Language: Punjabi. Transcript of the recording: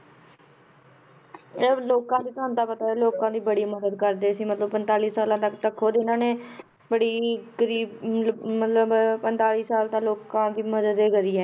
ਇਹ ਲੋਕਾਂ ਦੀ ਤੁਹਾਨੂੰ ਤਾਂ ਪਤਾ ਹੈ ਲੋਕਾਂ ਦੀ ਬੜੀ ਮਦਦ ਕਰਦੇ ਸੀ ਮਤਲਬ ਪੰਤਾਲੀ ਸਾਲਾਂ ਤੱਕ ਤਾਂ ਖੁੱਦ ਇਹਨਾਂ ਨੇ ਬੜੀ ਗ਼ਰੀਬ ਲ~ ਮਤਲਬ ਪੰਤਾਲੀ ਸਾਲ ਤੱਕ ਲੋਕਾਂ ਦੀ ਮਦਦ ਇਹ ਕਰੀ ਹੈ,